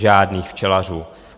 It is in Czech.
Žádných včelařů.